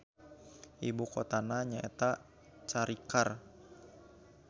Ibu kotana nyaeta Charikar.